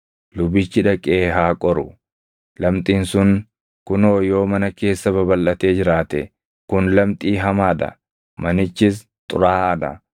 lubichi dhaqee haa qoru; lamxiin sun kunoo yoo mana keessa babalʼatee jiraate, kun lamxii hamaa dha; manichis xuraaʼaa dha.